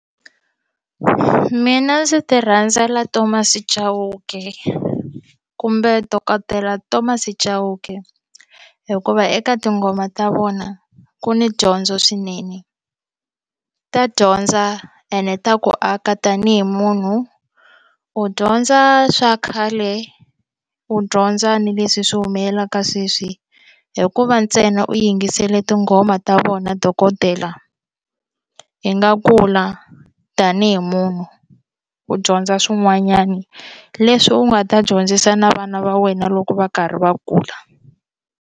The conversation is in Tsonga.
Mina ndzi ti rhandza la Thomas Chauke kumbe dokodela Thomas Dhauke hikuva eka tinghoma ta vona ku ni dyondzo swinene ta dyondza ene ta ku aka tanihi munhu u dyondza swa khale u dyondza ni leswi swi humelelaka sweswi hikuva ntsena u yingisele tinghoma homa ta vona dokodela yi nga kula tanihi munhu u dyondza swin'wanyana leswi u nga ta dyondzisa na vana va wena loko va karhi va kula.